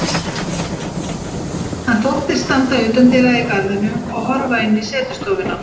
Hann þóttist standa utandyra í garðinum og horfa inn um setustofuna.